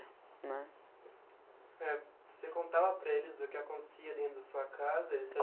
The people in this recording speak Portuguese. né. Você contava para eles o que acontecia dentro da sua casa? Eles